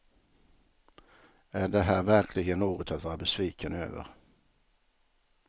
Är det här verkligen något att vara besviken över?